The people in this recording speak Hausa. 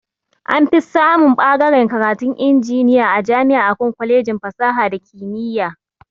Anfi samun ɓagaren karatun injiniya a jama'i akan kwalejin fasaha da kimiya